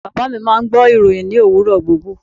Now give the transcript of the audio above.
Baba mi máà ń gbọ́ ìròhìn ní òwúrọ̀ gbogbo.